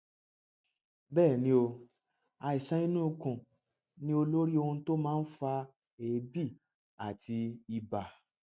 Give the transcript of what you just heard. bẹẹ ni o àìsàn inú ikùn ni olórí ohun tó máa ń fa èébì àti ibà